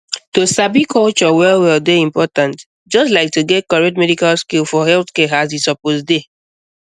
to sabi culture well well dey important just like to get correct medical skill for healthcare as e suppose dey